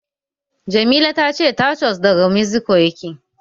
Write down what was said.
Jamila tace taco daga Meziko yake